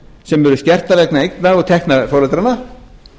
sem eru skertar vegna eigna og tekna foreldranna